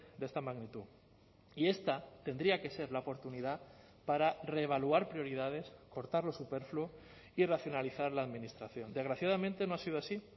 de esta magnitud y esta tendría que ser la oportunidad para reevaluar prioridades cortar lo superfluo y racionalizar la administración desgraciadamente no ha sido así